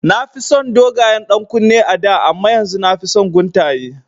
Na fi son dogayen ɗankunne a da amma yanzu nafi son guntaye